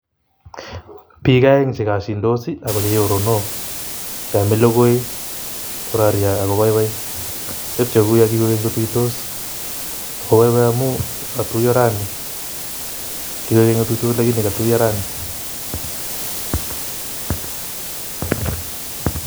Biik aeng' che kosyindos ak ko choronok che amei logoi kororye anan koboiboi. Tepchei kou yo kikoek keny kotuitos ako boiboi amu katuiyo rani, lakini kotuiyo rani.